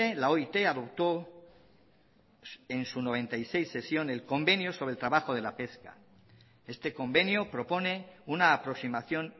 la oit adoptó en su noventa y seis sesión el convenio sobre el trabajo de la pesca este convenio propone una aproximación